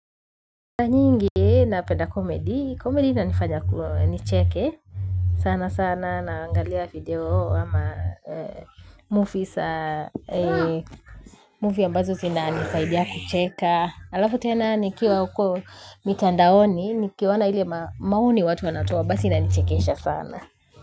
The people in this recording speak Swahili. Na nyingi na penda komedi, komedi inanifanya nicheke sana sana naangalia video ama movie sa Movie ambazo zinanisaidia kucheka alafu tena nikiwa huko mitandaoni nikiwaona ile maoni watu wanatoa basi inanichekeesha sana.